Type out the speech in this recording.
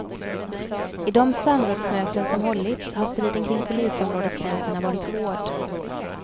I de samrådsmöten som hållits har striden kring polisområdesgränserna varit hård.